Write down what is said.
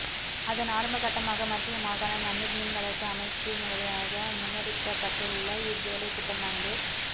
அதன் ஆரம்பக்கட்டமாக மத்திய மாகாண நன்னீர் மீன்வளர்ப்பு அமைச்சினூடாக முன்னெடுக்கப்பட்டுள்ள இவ் வேலைத்திட்டமானது